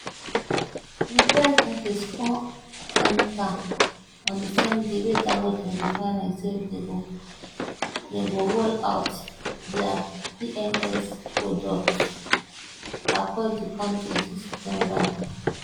di price increase come enta on di same day wey dangote refinery say dem go dem go roll out dia pms product across di kontri dis september